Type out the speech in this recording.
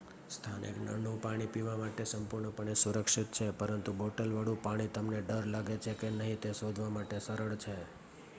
સ્થાનિક નળનું પાણી પીવા માટે સંપૂર્ણપણે સુરક્ષિત છે પરંતુ બોટલવાળું પાણી તમને ડર લાગે છે કે નહીં તે શોધવા માટે સરળ છે